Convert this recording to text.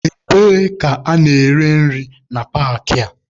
Ebee ka a na-ere nri na paakị a?